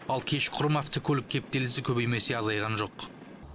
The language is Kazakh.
ал кешқұрым автокөлік кептелісі көбеймесе азайған жоқ